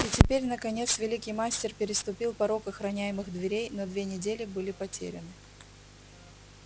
и теперь наконец великий мастер переступил порог охраняемых дверей но две недели были потеряны